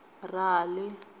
rali